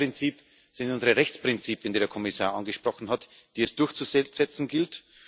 Das zweite Prinzip sind unsere Rechtsprinzipien, die der Kommissar angesprochen hat, die es durchzusetzen gilt.